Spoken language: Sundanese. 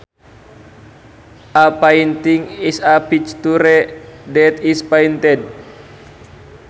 A painting is a picture that is painted